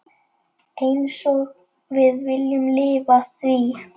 Einsog við viljum lifa því.